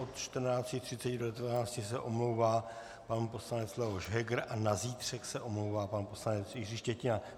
Od 14.30 do 19.00 se omlouvá pan poslanec Leoš Heger a na zítřek se omlouvá pan poslanec Jiří Štětina.